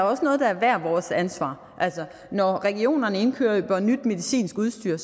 også noget der er hvert vores ansvar altså når regionerne indkøber nyt medicinsk udstyr